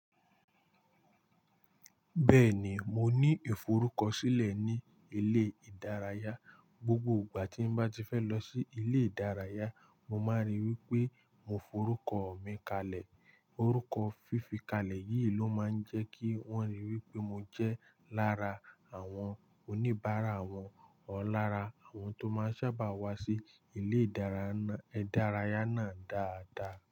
Bẹ́ẹ̀ ni, mo ní ìforúkọ sílẹ̀ ní ilé ìdárayá. Gbogbo ìgbà tí n bá ti fẹ́ lọ sí ilé ìdárayá, mo máa ríi wí pé mo forúkọ ọ̀ mi kalẹ̀. Orúkọ fífikalẹ̀ yìí ló máa ń jẹ́ kí wọ́n rí i wí pé mo jẹ́ lára àwọn oníbàárà àwọn ọ̀ lára àwọn tó máa ń sábà wá sí ilé ìdárayá náà dáadáa.